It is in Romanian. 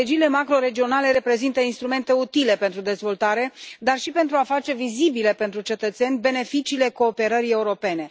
Strategiile macroregionale reprezintă instrumente utile pentru dezvoltare, dar și pentru a face vizibile pentru cetățeni beneficiile cooperării europene.